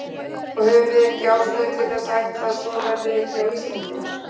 Og höfum við ekki ástæðu til þess að ætla að svo verði einnig á Íslandi?